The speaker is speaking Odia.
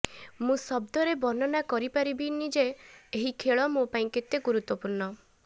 ମୁଁ ଶବ୍ଦରେ ବର୍ଣ୍ଣନା କରିପାରିବିନି ଯେ ଏହି ଖେଳ ମୋ ପାଇଁ କେତେ ମହତ୍ତ୍ୱପୂର୍ଣ୍ଣ